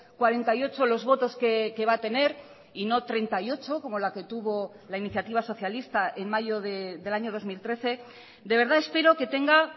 cuarenta y ocho los votos que va a tener y no treinta y ocho como la que tuvo la iniciativa socialista en mayo del año dos mil trece de verdad espero que tenga